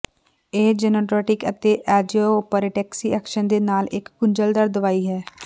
ਇਹ ਜੈਨੋਟੋਨੀਕ ਅਤੇ ਐਂਜੀਓਪਰੋਕਟੈਕਸੀ ਐਕਸ਼ਨ ਦੇ ਨਾਲ ਇਕ ਗੁੰਝਲਦਾਰ ਦਵਾਈ ਹੈ